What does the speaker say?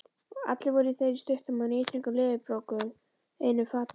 Allir voru þeir í stuttum og níðþröngum leðurbrókum einum fata.